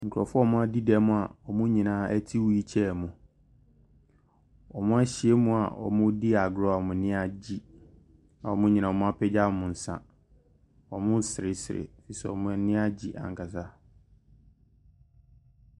Nkurofoɔ a wɔn adi dɛm a wɔn nyinaa ɛte whil kyair mu. Wɔn ahyiamu a wɔn redi agorɔ a wɔn ani agye a wɔn nyinaa apagya wɔn nsa. Wɔn resere sere ɛfiri sɛ wɔn ani agye ankasa.